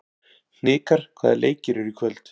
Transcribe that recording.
Hnikar, hvaða leikir eru í kvöld?